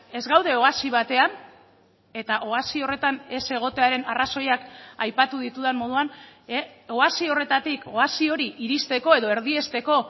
ez gaude oasi batean eta oasi horretan ez egotearen arrazoiak aipatu ditudan moduan oasi horretatik oasi hori iristeko edo erdiesteko